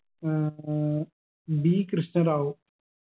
ഏർ D Krishna Rao